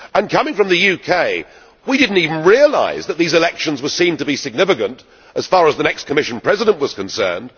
Coming from the UK, we did not even realise that these elections were seen to be significant as far as the next Commission President was concerned.